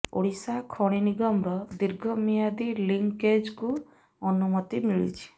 ଓଡିଶା ଖଣି ନିଗମର ଦୀର୍ଘ ମିଆଦୀ ଲିଂକେଜକୁ ଅନୁମତି ମିଳିଛି